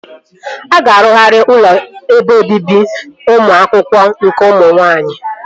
A ga-arụgharị ụlọ ebe obibi ụmụ akwụkwọ nke ụmụ nwaanyị